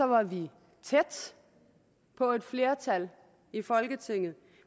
var vi tæt på et flertal i folketinget